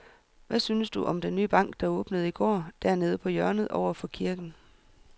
Hvad synes du om den nye bank, der åbnede i går dernede på hjørnet over for kirken?